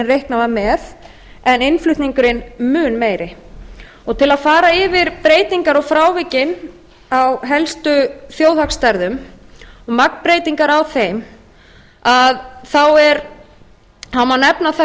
reiknað var með en innflutningurinn mun meiri til að fara yfir breytingar og frávikin á helstu þjóðhagsstærðum og magnbreytingar á þeim má nefna það